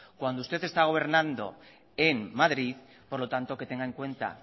cuando usted está gobernando en madrid por lo tanto que tenga en cuenta